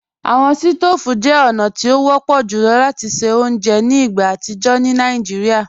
Awọn stòóvù jẹ ọ̀na ti o wọ̀pọ̀ jùlọ̀ lati ṣẹ ọ̀unjẹ́ ni igbá atijọ ni Naijíríà.